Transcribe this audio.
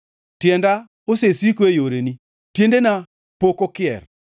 Tienda osesiko e yoreni; tiendena pok okier.